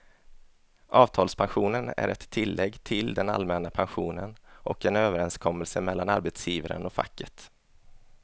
Avtalspensionen är ett tillägg till den allmänna pensionen och en överenskommelse mellan arbetsgivaren och facket.